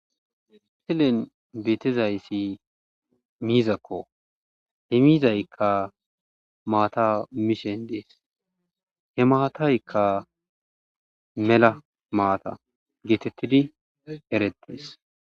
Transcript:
Henin beetizayssi miizakko he miizaykka maata mishen dees he maataykka mela maata geetettidi eretees.